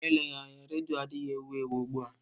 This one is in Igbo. Ma eleghị anya, redio adịghị ewu ewu ugbu a.